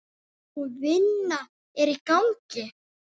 Sú vinna er í gangi.